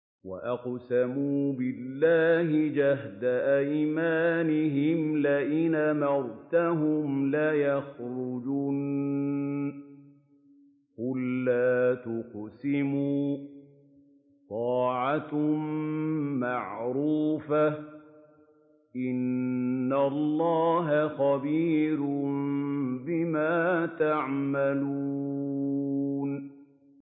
۞ وَأَقْسَمُوا بِاللَّهِ جَهْدَ أَيْمَانِهِمْ لَئِنْ أَمَرْتَهُمْ لَيَخْرُجُنَّ ۖ قُل لَّا تُقْسِمُوا ۖ طَاعَةٌ مَّعْرُوفَةٌ ۚ إِنَّ اللَّهَ خَبِيرٌ بِمَا تَعْمَلُونَ